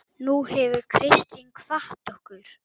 Nú hefur Kristín kvatt okkur.